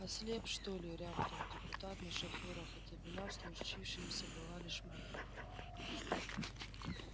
ослеп что ли рявкнул депутат на шофёра хотя вина в случившемся была лишь моя